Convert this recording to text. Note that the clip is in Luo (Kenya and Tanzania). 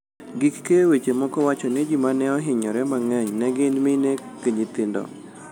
Gik keyo weche moko wacho ni ji mane ohinyore mang'eny ne gin mine gi nyithindo.